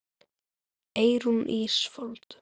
Eyrún Ísfold.